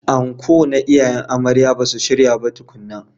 Anko na iyayen amarya basu shirya ba tukuna.